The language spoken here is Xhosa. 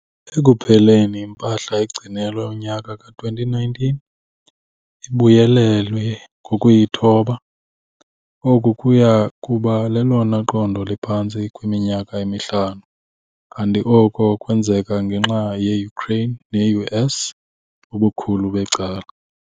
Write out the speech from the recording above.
Ekupheleni impahla egcinelwe unyaka ka-2019 ibuyelelwe ngokuyithoba, oku kuya kuba lelona qondo liphantsi kwiminyaka emihlanu, kanti oku kwenzeka ngenxa yeUkraine neUS ubukhulu becala.